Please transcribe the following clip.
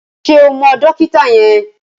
Ṣé o mọ dókítà yẹn?